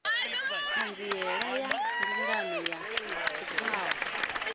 ṱhanziela ya mbingano ya tshikhau